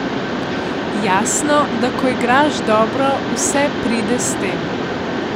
Jasno, da ko igraš dobro, vse pride s tem.